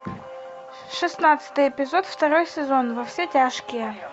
шестнадцатый эпизод второй сезон во все тяжкие